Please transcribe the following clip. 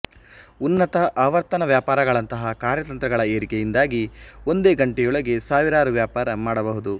ಉನ್ನತ ಆವರ್ತನ ವ್ಯಾಪಾರಗಳಂತಹ ಕಾರ್ಯತಂತ್ರಗಳ ಏರಿಕೆಯಿಂದಾಗಿ ಒಂದೇ ಗಂಟೆಯೊಳಗೆ ಸಾವಿರಾರು ವ್ಯಾಪಾರ ಮಾಡಬಹುದು